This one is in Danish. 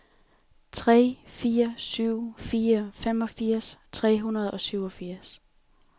tre fire syv fire femogfirs fire hundrede og syvogfirs